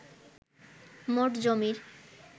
মোট জমির